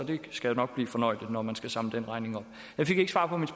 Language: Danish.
det skal nok blive fornøjeligt når man skal samle den regning op jeg fik ikke svar på mit